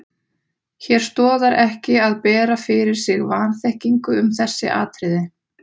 Hér stoðar ekki að bera fyrir sig vanþekkingu um þessi atriði.